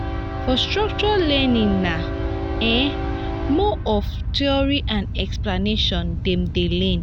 for structured learning na um more of theory and explanation dem de learn